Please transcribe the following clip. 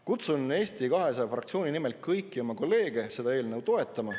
Kutsun Eesti 200 fraktsiooni nimel kõiki oma kolleege seda eelnõu toetama.